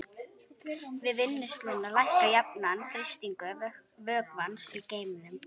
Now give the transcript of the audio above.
Við vinnsluna lækkar jafnan þrýstingur vökvans í geyminum.